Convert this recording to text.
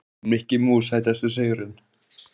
Mikki Mús Sætasti sigurinn?